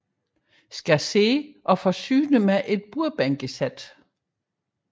Landevej og forsynet med et bordbænkesæt